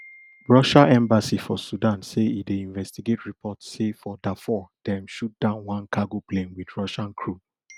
russia embassy for sudan say e dey investigate report say for dafur dem shoot down one cargo plane wit russian crew